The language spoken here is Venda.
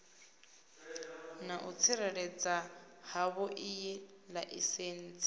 na u tsireledzea havhoiyi laisentsi